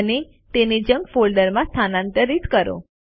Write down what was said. અને તેને જંક ફોલ્ડરમાં સ્થાનાંતરિત કરો